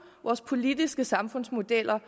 vores politiske samfundsmodeller